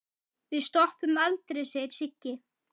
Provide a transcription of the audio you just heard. Við stoppum aldrei segir Siggi.